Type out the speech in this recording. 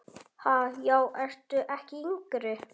Ha, já ertu ekki yngri!